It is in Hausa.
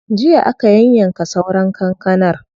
Jiya aka yayyanka sauran kankanar.